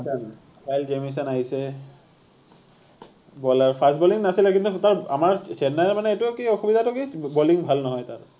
কাইল Jamieson আহিছে, বলাৰ fast bowling নাছিলে কিন্তু তাৰ আমাৰ চেন্নাইৰ মানে এইটো কি অসুবিধাটো কি বলিং ভাল নহয় তাৰ